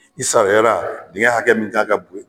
I sariyara dingin hakɛ min kan ka